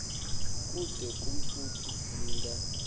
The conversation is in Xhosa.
kude kufuphi ninga